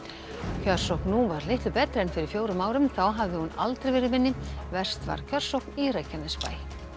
kjörsókn nú var litlu betri en fyrir fjórum árum þá hafði hún aldrei verið minni verst var kjörsókn í Reykjanesbæ